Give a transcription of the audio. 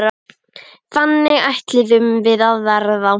Þannig ætluðum við að verða.